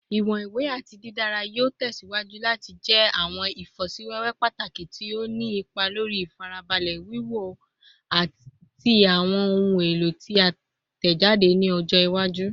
Iwọn iwe ati didara yoo tẹsiwaju lati jẹ awọn ifosiwewe pataki ti o ni ipa lori ifarabalẹ wiwo ti awọn ohun elo ti a tẹjade ni ọjọ iwaju